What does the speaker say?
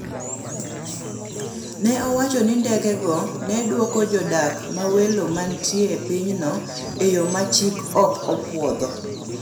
ne owacho ni ndege go ne dwoko jodak mawelo manitie e pinyno e yo ma chik ok opuodho